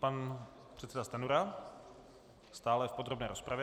Pan předseda Stanjura stále v podrobné rozpravě.